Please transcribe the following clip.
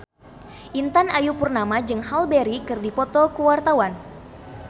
Intan Ayu Purnama jeung Halle Berry keur dipoto ku wartawan